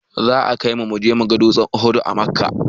Za a kaimu muga dutsen uhud a makka